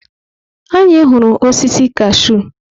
Anyị hụrụ osisi kashụ.